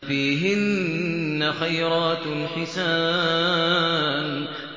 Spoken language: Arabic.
فِيهِنَّ خَيْرَاتٌ حِسَانٌ